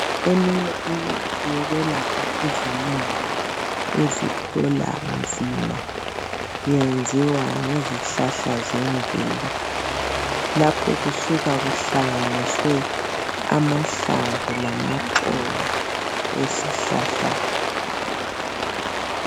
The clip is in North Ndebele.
Eminye imithi yokwelapha izilonda eziphola nzima yenziwa ngezihlahla zemvelo lapho kusuka kuhlanganiswe amahlamvu lamaxolo esihlahla.